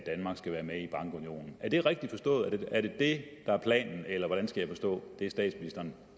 skal være med i bankunionen er det rigtigt forstået er det det der er planen eller hvordan skal jeg forstå det statsministeren